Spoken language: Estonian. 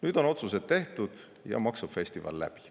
Nüüd on otsused tehtud ja maksufestival läbi.